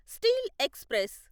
steel express